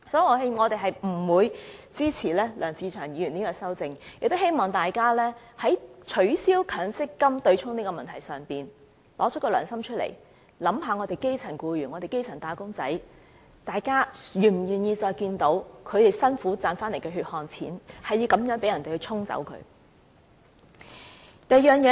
所以，我們是不會支持梁志祥議員的修正案，亦希望大家在取消強積金對沖的問題上，拿出良心，想一想基層僱員和基層"打工仔"，大家是否願意再看到他們辛苦賺取的血汗錢繼續被人以此方式"沖走"呢？